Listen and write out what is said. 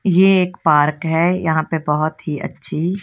ये एक पार्क है यहां पे बहुत ही अच्छी--